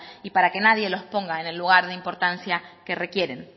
y para que nadie los ponga en el lugar de importancia que requieren